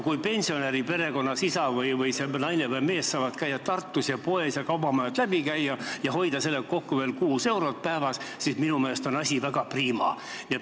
Kui pensionäride perekonnas naine või mees saab käia Tartus poed ja kaubamajad läbi ning hoida sellega kokku veel 6 eurot päevas, siis minu meelest on asi väga priima.